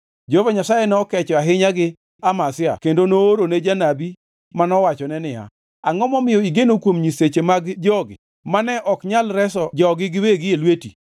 Jehova Nyasaye nokecho ahinya gi Amazia kendo noorone janabi manowachone niya, “Angʼo momiyo igeno kuom nyiseche mag jogi mane ok nyal reso jogi giwegi e lweti?”